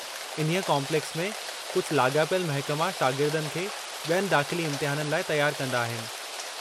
इन्हीअ काॅम्प्लेक्स में कुझु लाॻापियलु महिकमा शागिर्दनि खे बि॒यनि दाख़िली इम्तिहाननि लाइ तयारु कंदा आहिनि।